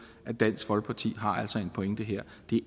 at dansk folkeparti altså har en pointe her